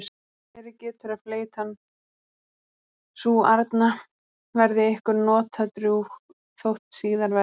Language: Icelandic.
Verið getur að fleytan sú arna verði ykkur notadrjúg þótt síðar verði.